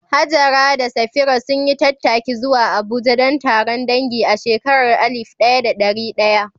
Hajara da Safira sun yi tattaki zuwa Abuja don taron dangi a shekarar alif ɗaya da ɗari ɗaya